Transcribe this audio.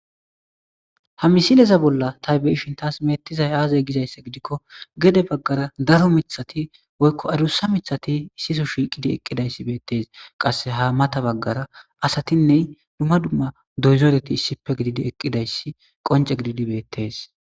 Ha misileza bolla ta be'ishin tasi beetizayi aze giza giddiko gede baggara daro miththati woykko adusa miththati issipe shiqqidi eqqida issi qassi ha maththa baggaranne dumma dumma dozareti issippe gididi issipe eqqida issi bettes.